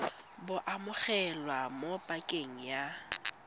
bo amogelwa mo pakeng ya